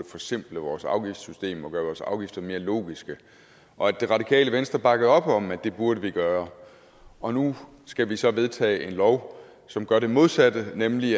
forsimple vores afgiftssystem og gøre vores afgifter mere logiske hvor det radikale venstre bakkede op om at det burde vi gøre og nu skal vi så vedtage en lov som gør det modsatte nemlig